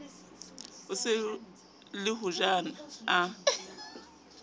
so ye le hojana a